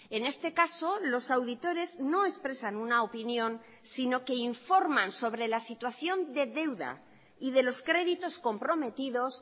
en este caso los auditores no expresan una opinión sino que informan sobre la situación de deuda y de los créditos comprometidos